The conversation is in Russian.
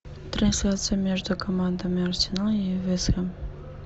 трансляция между командами арсенал и вест хэм